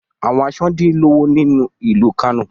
Awọn aṣọ din lowo ni ilu Kano